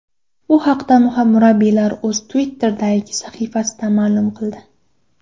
Bu haqda murabbiyning o‘zi Twitter’dagi sahifasida ma’lum qildi .